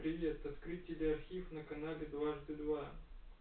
привет открыть теле архив на канале дважды два